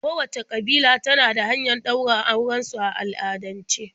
Kowacce ƙabila na da hanyar ɗaura auren su a al'adance.